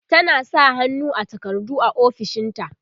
tana sa hannu a takardu a ofishinta